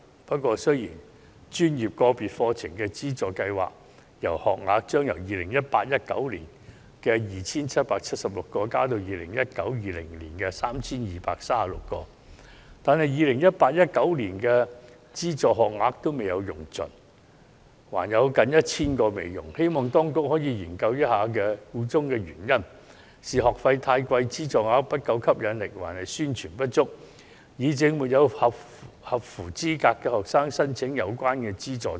不過，雖然專業界別課程資助計劃學額將由 2018-2019 學年的 2,776 個增至 2019-2020 學年的 3,236 個，但 2018-2019 學年的資助學額尚未用盡，還有近 1,000 個未使用，希望當局可以研究一下箇中原因：是學費太貴，資助額不夠吸引力，還是宣傳不足，以致沒有符合資格的學生申請有關資助？